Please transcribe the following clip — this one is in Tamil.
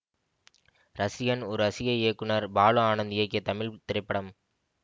ரசிகன் ஒரு ரசிகை இயக்குனர் பாலு ஆனந்த் இயக்கிய தமிழ் திரைப்படம்